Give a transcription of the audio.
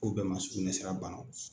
u bɛɛ ma sugunɛsira banaw